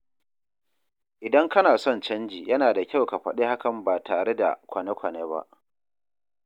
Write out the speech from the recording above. Idan kana son canji, yana da kyau ka faɗi hakan ba tare da kwane-kwane ba.